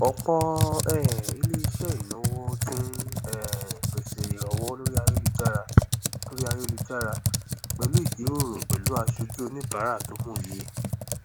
ọpọ um iléiṣẹ ináwó ti ń um pese ìranwọ lórí ayélujára lórí ayélujára pẹlú ìjíròrò pẹlú aṣojú oníbàárà tó mòye